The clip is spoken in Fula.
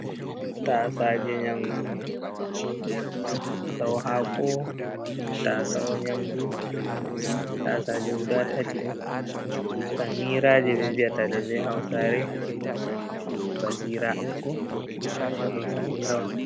Tasaje nyamdu ɗo hako, tasawo nyamdu tasaje guda tati. samira je ɓe vi’ata ɗe be hausare be basira amma ɗo samira on.